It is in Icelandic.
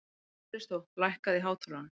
Kristó, lækkaðu í hátalaranum.